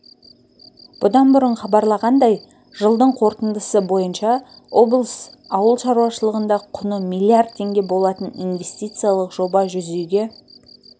бұдан бұрын хабарланғандай жылдың қорытындысы бойынша облыс ауыл шаруашылығында құны миллиард теңге болатын инвестициялық жоба жүзеге